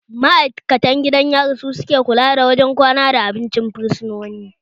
Ma'aikatan gidan yari su ke kula da wurin kwana da abincin fursunoni